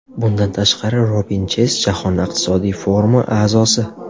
Bundan tashqari, Robin Cheyz Jahon iqtisodiy forumi a’zosi.